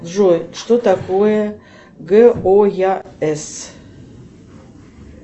джой что такое гояс